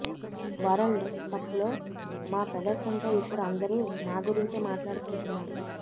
world కప్లో మా ప్రదర్శనతో ఇప్పుడు అందరూ మా గురించే మాట్లాడుకుంటున్నారు